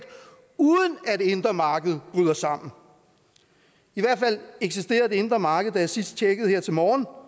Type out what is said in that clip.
uden at det indre marked bryder sammen i hvert fald eksisterede det indre marked da jeg sidst tjekkede her til morgen og